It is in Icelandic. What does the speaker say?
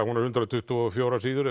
hún er hundrað tuttugu og fjórar síður